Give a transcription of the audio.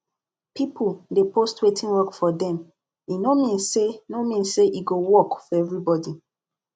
people dey post wetin work for dem e no mean say no mean say e go work for everybody